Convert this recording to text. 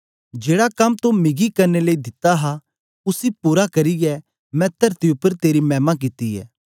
जेड़ा कम तो मिगी करने लेई दिता हा उसी पूरा करियै मैं तरती उपर तेरी मैमा कित्ती ऐ